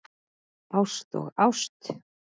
Ást og ást.